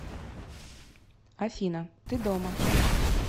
афина ты дома